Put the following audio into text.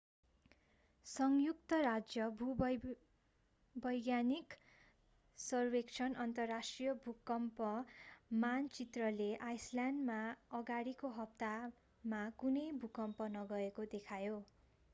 संयुक्त राज्य भूवैज्ञानिक सर्वेक्षण अन्तर्राष्ट्रिय भूकम्प मानचित्रले आइसल्यान्डमा अगाडिको हप्तामा कुनै भूकम्प नगएको देखायो